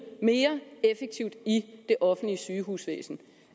mere effektivt i det offentlige sygehusvæsen